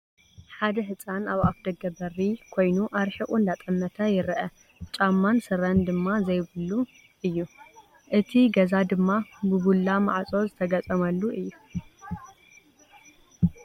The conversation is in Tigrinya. ሓደ ህፃን ኣብ ኣፍ ደገ በሪ ኮይኑ ኣርሒቑ እንዳጠመተ ይረአ፡፡ ጫማን ስረን ድማ ዘይብዙ እሉ፡፡ እቲ ገዛ ድማ ብቡላ ማዕፆ ዝተገጠመሉ እዩ፡፡